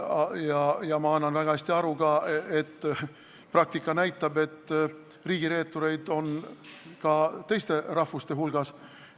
Ma annan endale ka väga hästi aru, et praktika näitab, et riigireetureid on ka teiste rahvuste hulgas.